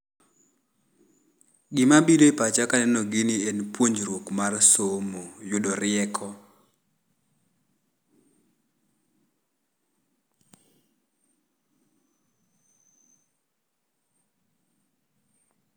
Gima biro e pacha ka aneno gini en puonjruok mar somo, yudo rieko.